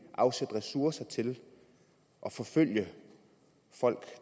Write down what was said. afsætte ressourcer til at forfølge folk